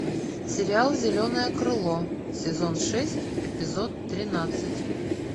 сериал зеленое крыло сезон шесть эпизод тринадцать